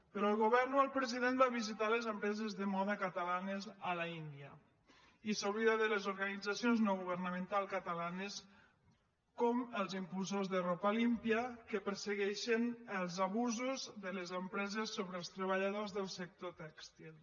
però el govern o el president va visitar les empreses de moda catalanes a l’índia i s’oblida de les organitzacions no governamentals catalanes com els impulsors de ropa limpia que persegueixen els abusos de les empreses sobre els treballadors del sector tèxtil